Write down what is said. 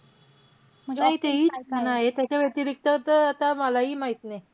ते हि छान आहे. त्याच्या व्यतिरिक्त त आता मलाही माहित नाही.